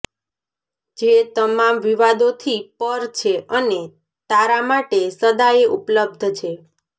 જે તમામ વિવાદોથી પર છે અને તારા માટે સદાયે ઉપલબ્ધ છે